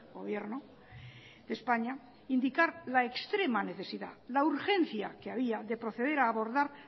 gobierno de españa indicar la extrema necesidad la urgencia que había de proceder a abordar